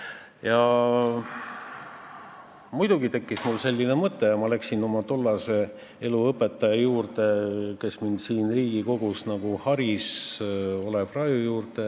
Ja muidugi tekkis mul üks mõte ja ma läksin oma tollase eluõpetaja juurde, kes mind siin Riigikogus haris, Olev Raju juurde.